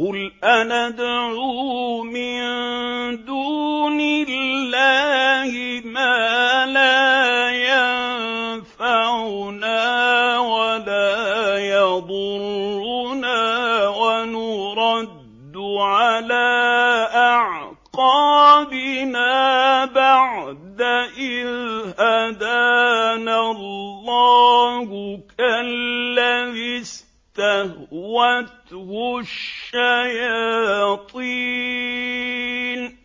قُلْ أَنَدْعُو مِن دُونِ اللَّهِ مَا لَا يَنفَعُنَا وَلَا يَضُرُّنَا وَنُرَدُّ عَلَىٰ أَعْقَابِنَا بَعْدَ إِذْ هَدَانَا اللَّهُ كَالَّذِي اسْتَهْوَتْهُ الشَّيَاطِينُ